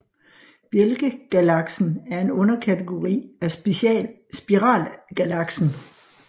Bjælkegalaksen er en underkategori af spiralgalaksen